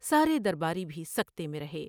سارے در باری بھی سکتے میں رہے ۔